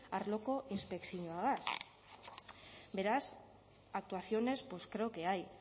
arloko inspekzioagaz beraz actuaciones pues creo que hay